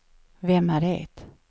vem är det